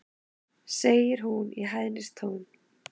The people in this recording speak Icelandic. segir hún í hæðnistón.